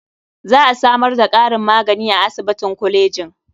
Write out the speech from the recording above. Za a samar da ƙarin magani a asibitin kolejin.